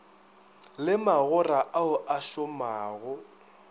le magora ao a šomago